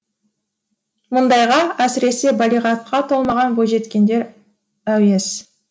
мұндайға әсіресе балиғатқа толмаған бойжеткендер әуес